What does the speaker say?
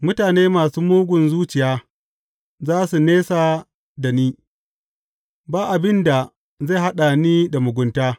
Mutane masu mugun zuciya za su nesa da ni; ba abin da zai haɗa ni da mugunta.